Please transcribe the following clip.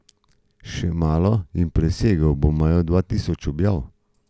Še malo in presegel bo mejo dva tisoč objav.